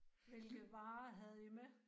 Hvilke varer havde I med?